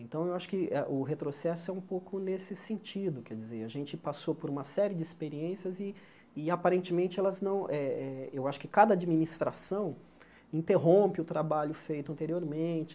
Então, eu acho que a o retrocesso é um pouco nesse sentido, quer dizer, a gente passou por uma série de experiências e e, aparentemente, elas não... eh eh eu acho que cada administração interrompe o trabalho feito anteriormente.